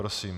Prosím.